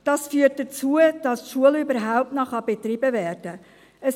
Dies führt dazu, dass die Schule überhaupt noch betrieben werden kann.